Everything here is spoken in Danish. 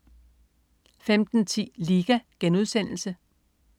15.10 Liga*